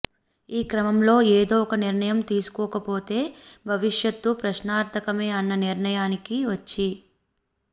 ఈ క్రమంలో ఏదో ఒక నిర్ణయం తీసుకోకపోతే భవిశ్యత్ ప్రశ్నార్ధకమే అన్న నిర్ణయానికి వచ్చి